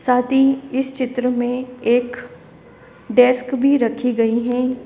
साथ ही इस चित्र में एक डेस्क भी रखी गई है।